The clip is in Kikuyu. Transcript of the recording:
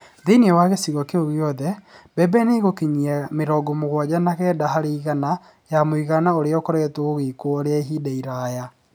Thĩinĩ wa gĩcigo kĩu gĩothe, mbembe nĩ ĩgũkinyia mĩrongo mũgwanja na kenda harĩ igana ya mũigana ũrĩa ũkoretwo ũgĩkwo rĩa ihinda iraya.